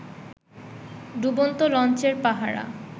ডুবন্ত লঞ্চের পাহারা